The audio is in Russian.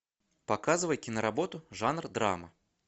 показывай киноработу жанр драма